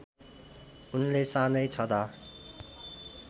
उनले सानै छदा